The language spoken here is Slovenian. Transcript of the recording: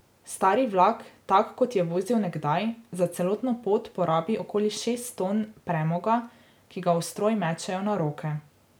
Stari vlak, tak, kot je vozil nekdaj, za celotno pot porabi okoli šest ton premoga, ki ga v stroj mečejo na roke.